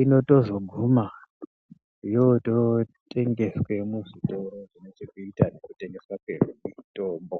inotozoguma yototengeswe muzvitoro ine chekuita nekutengeswa kwemitombo .